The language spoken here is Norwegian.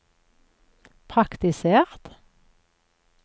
praktisert